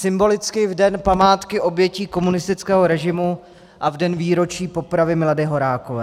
Symbolicky v Den památky obětí komunistického režimu a v den výročí popravy Milady Horákové.